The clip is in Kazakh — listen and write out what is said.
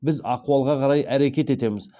біз ахуалға қарай әрекет етеміз